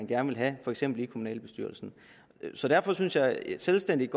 gerne vil have for eksempel i kommunalbestyrelsen så derfor synes jeg det selvstændigt